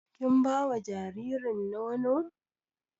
Kin bawa jaririn nono?